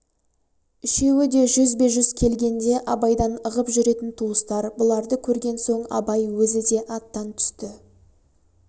үшеуі де жүзбе-жүз келгенде абайдан ығып жүретін туыстар бұларды көрген соң абай өзі де аттан түсті